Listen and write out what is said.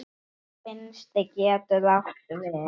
Vinstri getur átt við